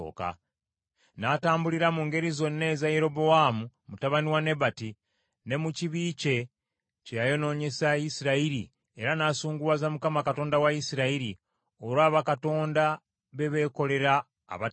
N’atambulira mu ngeri zonna eza Yerobowaamu mutabani wa Nebati, ne mu kibi kye, kye yayonoonyesa Isirayiri era n’asunguwaza Mukama Katonda wa Isirayiri olwa bakatonda beebeekolera abatagasa.